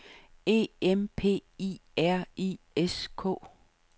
E M P I R I S K